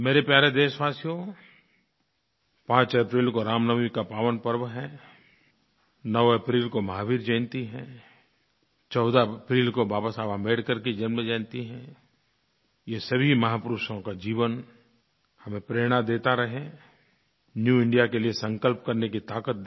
मेरे प्यारे देशवासियो 5 अप्रैल को रामनवमी का पावन पर्व है 9 अप्रैल को महावीर जयंती है 14 अप्रैल को बाबा साहब अम्बेडकर की जन्मजयंती है ये सभी महापुरुषों का जीवन हमें प्रेरणा देता रहे न्यू इंडिया के लिये संकल्प करने की ताक़त दे